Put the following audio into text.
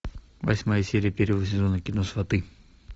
восьмая серия первого сезона кино сваты